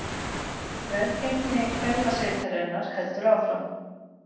Velgengni kvennasveitarinnar heldur áfram